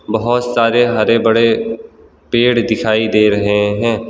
बहोत सारे हरे बड़े पेड़ दिखाई दे रहे हैं।